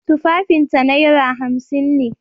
Tufafinta naira hamsin ne.